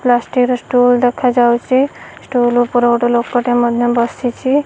Plastic stool ଦେଖା ଯାଉଛି stool ଉପରେ ଲୋକ ଟିଏ ମଧ୍ୟ ବସିଛି।